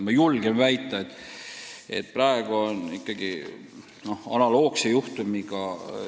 Ma julgen väita, et praegu on tegemist analoogse juhtumiga.